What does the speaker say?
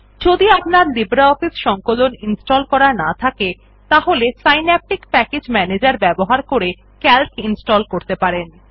যদি লিব্রিঅফিস সংকলন ইনস্টল করা না থাকে তাহলে সিন্যাপটিক প্যাকেজ ম্যানেজের ব্যবহার করে সিএএলসি ইনস্টল করতে পারেন